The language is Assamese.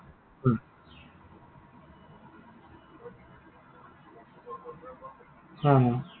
হা, হা।